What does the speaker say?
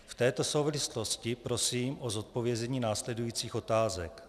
V této souvislosti prosím o zodpovězení následujících otázek.